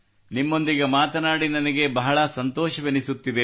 ನಿಮ್ಮೊಂದಿಗೆ ಮಾತಾಡಿ ನನಗೆ ಬಹಳ ಸಂತೋಷವೆನಿಸುತ್ತಿದೆ